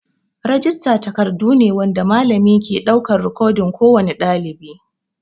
Rijista takardun ne wanda malami ke ɗaukar rikodin kowane ɗalibai.